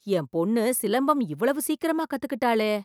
என் பொண்ணு சிலம்பம் இவ்வளவு சீக்கிரமா கத்துக்கிட்டாளே!